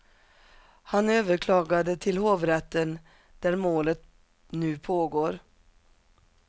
Han överklagade till hovrätten, där målet nu pågår.